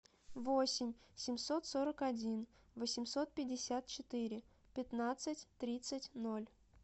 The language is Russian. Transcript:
восемь семьсот сорок один восемьсот пятьдесят четыре пятнадцать тридцать ноль